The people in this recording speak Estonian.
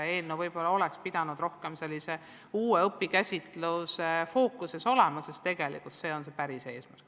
Võib-olla oleks eelnõu pidanud olema fookustatud rohkem uuele õpikäsitlusele, sest just see on tegelikult see päris eesmärk.